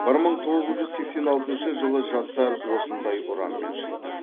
бір мың тоғыз жүз сексен алтыншы жылы жастар осындай ұранмен шықты